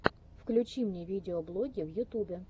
включи мне видеоблоги в ютюбе